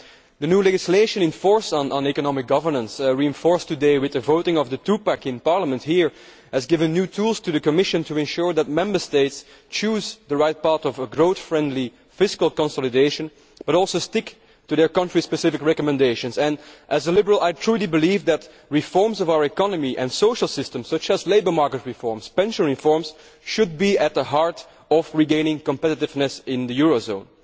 The new legislation in force on economic governance, reinforced today with the voting of the Two Pack' in Parliament, has given new tools to the Commission to ensure that Member States choose the right part of a growth friendly fiscal consolidation, but also stick to their country specific recommendations. As a Liberal, I truly believe that reforms of our economy and social system, such as labour market reforms and pension reforms, should be at the heart of regaining competitiveness in the eurozone.